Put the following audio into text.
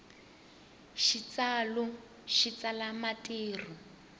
xitsalu xi tsala marito